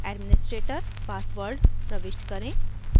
administrator password प्रविष्ट करें